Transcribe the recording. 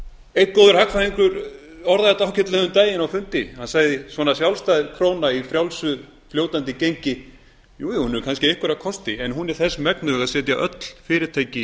einn góður hagfræðingur orðaði þetta ágætlega um daginn á fundi hann sagði svona sjálfstæð króna í frjálsu fljótandi gengi jú jú hún hefur kannski einhverja kosti en hún er þess megnug að setja öll fyrirtæki